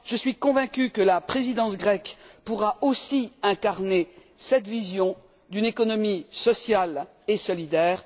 Je suis convaincue que la présidence grecque pourra aussi incarner cette vision d'une économie sociale et solidaire.